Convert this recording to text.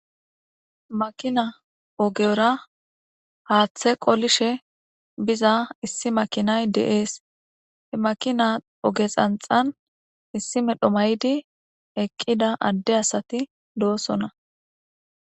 Makina ogera haaththe qolishe biza issi makinay de'es. He makina oge xanxxan issi medhdho mayidi eqqida adde asati doosona.